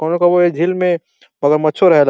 कउनो कउनो इ झील में मगरमच्छो रहेला।